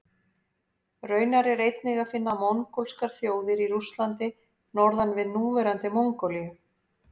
Raunar er einnig að finna mongólskar þjóðir í Rússlandi norðan við núverandi Mongólíu.